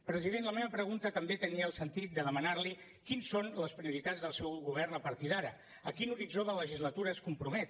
president la meva pregunta també tenia el sentit de demanar li quines són les prioritats del seu govern a partir d’ara a quin horitzó de legislatura es compromet